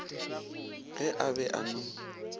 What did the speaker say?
ge a be a no